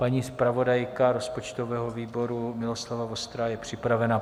Paní zpravodajka rozpočtového výboru Miloslava Vostrá je připravena.